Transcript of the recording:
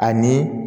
Ani